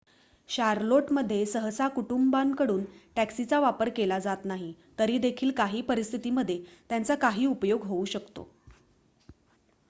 Charlotte मध्ये सहसा कुटुंबांकडून टॅक्सीचा वापर केला जात नाही तरी देखील काही परिस्थिती मध्ये त्यांचा काही उपयोग होऊ शकतो